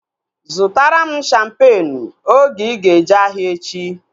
Zụtara m shampeenu oge ịga eje ahịa echi!